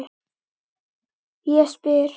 Ég spyr?